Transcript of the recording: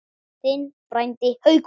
Þinn frændi, Haukur.